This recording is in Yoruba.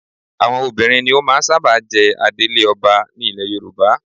Àwọn obìnrin ni ó máa ń sábà jẹ adelé ọba ní ilẹ Yorùbá